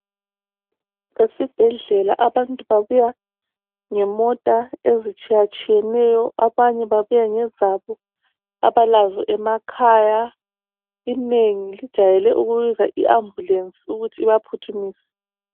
Esibhedlela abantu babuya ngemota ezitshiyatshiyeneyo. Abanye babuya ngezabo abalazo emakhaya. Inengi lijayele ukubiza i- ambulance ukuthi ibaphuthumise.